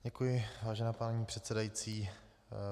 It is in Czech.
Děkuji, vážená paní předsedající.